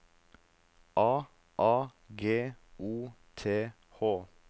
A A G O T H